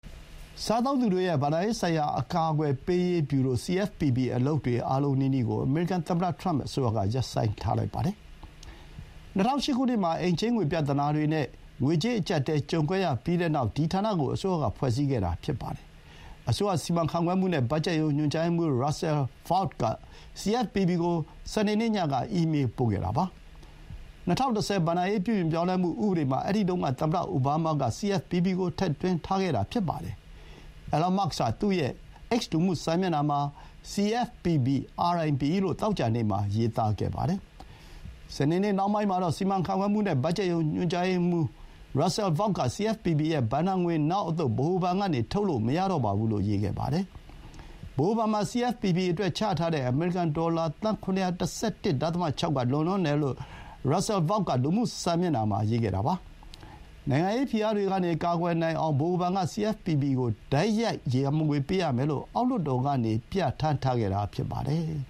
စားသုံးသူတွေရဲ့ ဘဏ္ဍာရေးဆိုင်ရာ အကာအကွယ်ပေးရေးဗျူရို (CFPB) အလုပ်တွေ အားလုံးနီးနီးကို အမေရိကန်သမ္မတ ထရမ့် အစိုးရက ရပ်ဆိုင်းလိုက်ပါတယ်။ ၂၀၀၈ ခုနှစ်မှာ အိမ်ချေးငွေ ပြဿနာတွေနဲ့ ငွေကြေးအကြပ်အတည်း ကြုံခဲ့ရပြီးနောက် ဒီဌာနကို အစိုးရက ဖွဲ့စည်းခဲ့တာဖြစ်ပါတယ်။ အစိုးရ စီမံခန့်ခွဲမှုနဲ့ ဘတ်ဂျက်ရုံး ညွှန်ကြားရေးမှူး Russell Vought က CFPB ကို စနေနေ့ညက အီးမေးပို့ခဲ့တာပါ။ ၂၀၁၀ ဘဏ္ဍာရေး ပြုပြင်ပြောင်းလဲမှု ဥပဒေမှာ အဲဒီတုန်းက သမ္မတအိုဘားမားက CFPB ကို ထည့်သွင်းထားခဲ့တာ ဖြစ်ပါတယ်။ အီလွန်မာ့စ်က သူ့ရဲ့ X လူမှုစာမျက်နှာမှာ “CFPB RIP” လို့ သောကြာနေ့မှာ ရေးသားခဲ့ပါတယ်။ စနေနေ့ နှောင်းပိုင်းမှာတော့ စီမံခန့်ခွဲမှုနဲ့ ဘတ်ဂျက်ရုံး ညွှန်ကြားရေးမှူး Russell Vought က CFPB ရဲ့ ဘဏ္ဍာငွေ နောက်အသုတ် ဗဟိုဘဏ်ကနေ ထုတ်လို့ မရတော့ပါဘူးလို့ ရေးခဲ့ပါတယ်။ ဗဟိုဘဏ်မှာ CFPB အတွက် ချထားတဲ့ အမေရိကန်ဒေါ်လာ $711.6 သန်းက လွန်လွန်းတယ်လို့ Russell Vought က လူမှုစာမျက်နှာမှာ ရေးပါတယ်။ နိုင်ငံရေးဖိအားတွေကနေ ကာကွယ်နိုင်အောင် ဗဟိုဘဏ်က CFPB ကို တိုက်ရိုက် ရန်ပုံငွေ ပေးရမယ်လို့ အောက်လွှတ်တော်ကနေ ပြဌာန်းထားခဲ့တာ ဖြစ်ပါတယ်။